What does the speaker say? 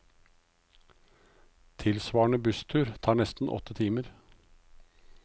Tilsvarende busstur tar nesten åtte timer.